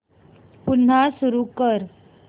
पुन्हा सुरू कर